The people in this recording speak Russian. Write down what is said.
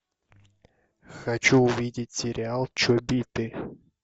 хочу увидеть сериал чобиты